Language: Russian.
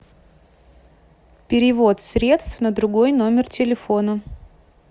перевод средств на другой номер телефона